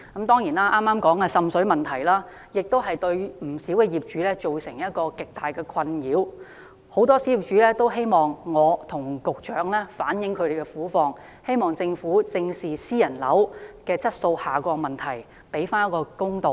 當然，剛才提及的滲水問題對不少業主造成極大的困擾，很多小業主也希望我可以向局長反映他們的苦況，希望政府正視私人樓宇的質素下降問題，還他們一個公道。